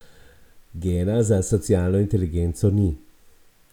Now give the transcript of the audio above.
Gena za socialno inteligenco ni.